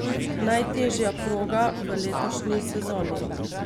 Najtežja proga v letošnji sezoni.